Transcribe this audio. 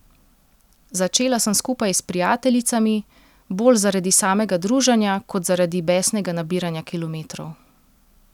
Začela sem skupaj s prijateljicami, bolj zaradi samega druženja kot zaradi besnega nabiranja kilometrov.